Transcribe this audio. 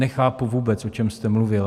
Nechápu vůbec, o čem jste mluvil.